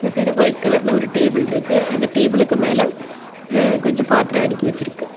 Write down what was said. இந்த side white கலர்ல ஒரு டேபிள் இருக்கு அந்த டேபிளுக்கு மேல கொஞ்சம் பாத்திரம் அடுக்கி வச்சுருக்கு.